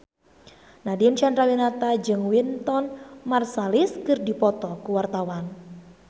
Nadine Chandrawinata jeung Wynton Marsalis keur dipoto ku wartawan